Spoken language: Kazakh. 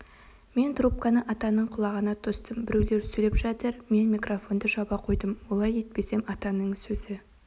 мен трубканы атаның құлағына тостым біреулер сөйлеп жатыр мен микрофонды жаба қойдым олай етпесем атаның сөзі